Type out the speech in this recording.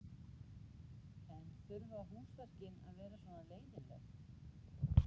En þurfa húsverkin að vera svona leiðinleg?